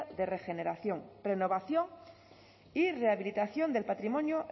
de regeneración renovación y rehabilitación del patrimonio